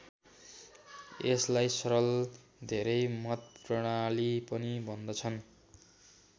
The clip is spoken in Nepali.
यसलाई सरल धेरै मत प्रणाली पनि भन्दछन्।